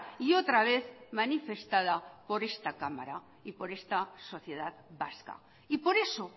y otra vez manifestada por esta cámara y por esta sociedad vasca y por eso